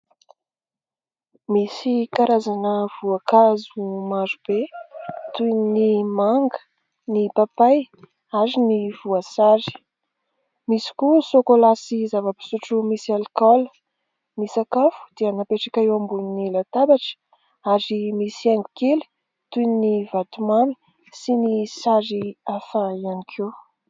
Misy karazana voankazo marobe toy ny manga, ny papay ary ny voasary. Misy koa sôkolà sy zava-pisotro misy alikaola. Ny sakafo dia napetraka eo ambonin'ny latabatra ary misy haingo kely toy ny vatomamy sy ny sary hafa ihany koa.